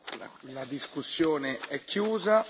La discussione è chiusa.